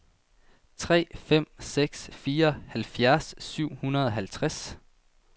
tre fem seks fire halvfjerds syv hundrede og halvtreds